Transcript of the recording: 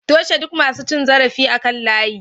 Toshe duk masu cin zarafi akan layi